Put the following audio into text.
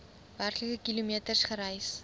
werklike kilometers gereis